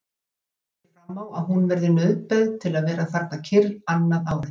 Gerður sér fram á að hún verði nauðbeygð til að vera þarna kyrr annað ár.